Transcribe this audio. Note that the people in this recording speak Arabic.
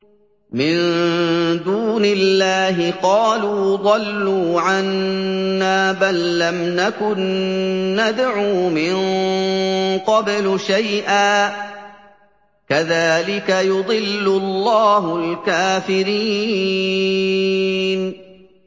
مِن دُونِ اللَّهِ ۖ قَالُوا ضَلُّوا عَنَّا بَل لَّمْ نَكُن نَّدْعُو مِن قَبْلُ شَيْئًا ۚ كَذَٰلِكَ يُضِلُّ اللَّهُ الْكَافِرِينَ